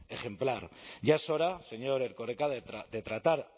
ejemplar ya es hora señor erkoreka de tratar